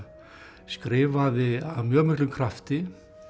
skrifaði af mjög miklum krafti